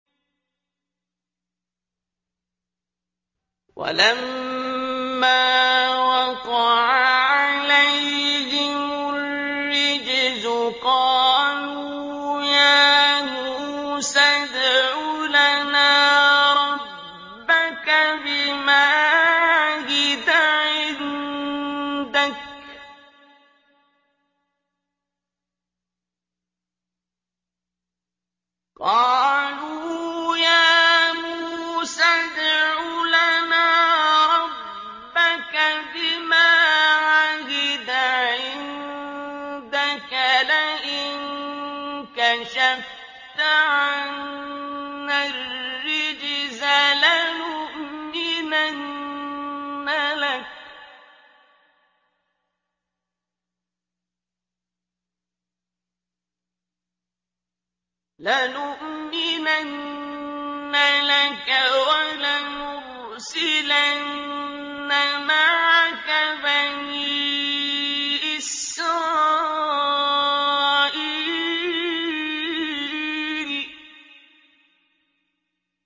وَلَمَّا وَقَعَ عَلَيْهِمُ الرِّجْزُ قَالُوا يَا مُوسَى ادْعُ لَنَا رَبَّكَ بِمَا عَهِدَ عِندَكَ ۖ لَئِن كَشَفْتَ عَنَّا الرِّجْزَ لَنُؤْمِنَنَّ لَكَ وَلَنُرْسِلَنَّ مَعَكَ بَنِي إِسْرَائِيلَ